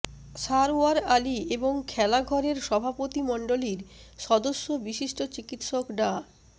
সারওয়ার আলী এবং খেলাঘরের সভাপতিমণ্ডলীর সদস্য বিশিষ্ট চিকিৎসক ডা